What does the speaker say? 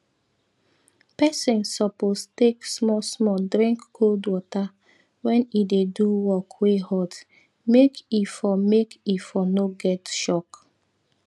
pesin suppose take smallsmall drink cold water wen e dey do work wey hot make e for make e for no get shock